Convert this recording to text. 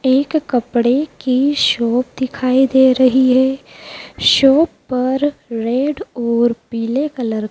एक कपड़े की शॉप दिखाई दे रही है शॉप पर रेड और पीले कलर --